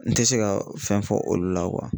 N tɛ se ka fɛn fɔ olu la